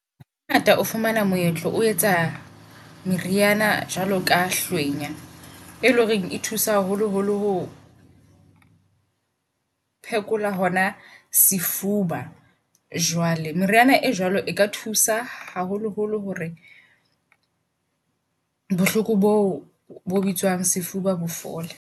Ha ngata o fumana moetlo o etsa meriana jwalo ka hlwenya e leng horeng e thusa haholo holo ho phekola hona sefuba. Jwale meriana e jwalo eka thusa haholo holo hore bohloko boo bo bitswang sefuba bo fole.